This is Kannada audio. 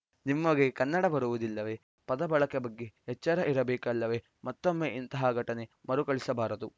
ನಿಮಗೆ ಕನ್ನಡ ಬರುವುದಿಲ್ಲವೇ ಪದ ಬಳಕೆ ಬಗ್ಗೆ ಎಚ್ಚರ ಇರಬೇಕಲ್ಲವೇ ಮತ್ತೊಮ್ಮೆ ಇಂತಹ ಘಟನೆ ಮರುಕಳಿಸಬಾರದು